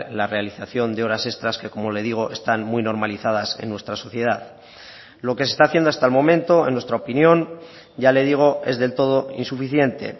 la realización de horas extras que como le digo están muy normalizadas en nuestra sociedad lo que se está haciendo hasta el momento en nuestra opinión ya le digo es del todo insuficiente